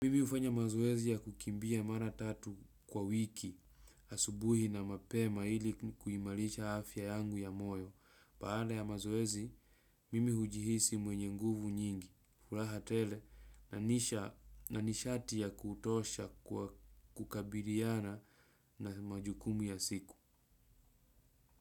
Mimi ufanya mazoezi ya kukimbia mara tatu kwa wiki, asubuhi na mape maili kuhimalisha afya yangu ya moyo. Baada ya mazoezi, mimi hujihisi mwenye nguvu nyingi, furaha tele na nishati ya kutosha kukabiriana na majukumu ya siku.